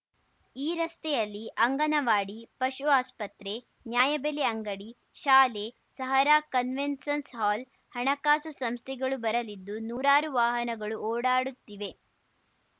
ಈ ರಸ್ತೆಯಲ್ಲಿ ಅಂಗನವಾಡಿ ಪಶು ಆಸ್ಪತ್ರೆ ನ್ಯಾಯಬೆಲೆ ಅಂಗಡಿ ಶಾಲೆ ಸಹರಾ ಕನ್ವೆನ್ಸನ್‌ ಹಾಲ್‌ ಹಣಕಾಸು ಸಂಸ್ಥೆಗಳು ಬರಲಿದ್ದು ನೂರಾರು ವಾಹನಗಳು ಓಡಾಡುತ್ತಿವೆ